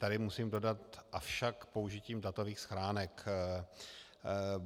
Tady musím dodat - avšak použitím datových schránek.